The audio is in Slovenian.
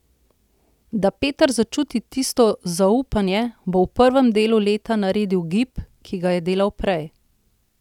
Da Peter začuti tisto zaupanje, da bo v prvem delu leta naredil gib, ki ga je delal prej.